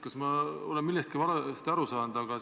Kas ma olen millestki valesti aru saanud?